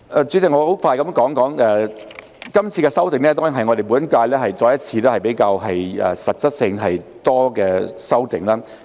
主席，我很快地說說，今次的修訂，當然是我們本屆再一次比較實質性和多的修訂。